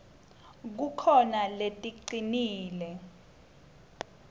kukhona leticinile